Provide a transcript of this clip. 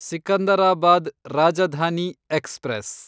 Secunderabad Rajdhani express